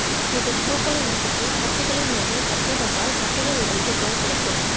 இதன் பூக்களை நசுக்கி கட்டிகளின்மீது கட்டி வந்தால் கட்டிகள் உடைந்து குணம் கிடைக்கும்